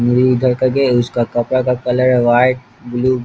मुड़ी इधर कर के उसका कपड़ा का कलर है व्हाइट ब्लू ।